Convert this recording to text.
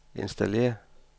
installér